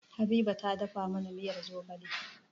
Habiba ta dafa mana miyar zogale